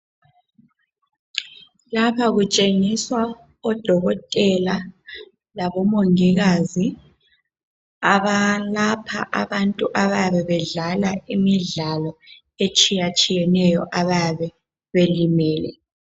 Lapha kutshengiswa odokotela labomongikazi abalapha abantu abayabe bedlala imidlalo etshiyatshiyeneyo abayabe belimele.